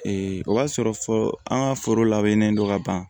o b'a sɔrɔ fɔ an ka foro labɛnnen don ka ban